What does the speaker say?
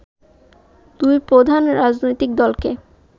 দুই প্রধান রাজনৈতিক দলকে